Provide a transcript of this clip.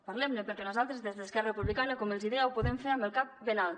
parlemne perquè nosaltres des d’esquerra republicana com els deia ho podem fer amb el cap ben alt